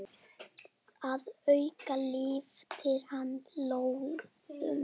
Að auki lyftir hann lóðum.